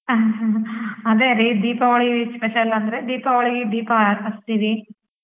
ಅದೇರಿ Deepavali special ಅಂದ್ರೆ ದೀಪಾವಳಿ ದೀಪ ಹಚ್ತೀವಿ.